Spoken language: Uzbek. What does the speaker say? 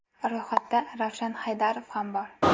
Ro‘yxatda Ravshan Haydarov ham bor.